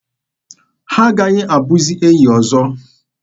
Ha aghaghị abụzi enyi ọzọ.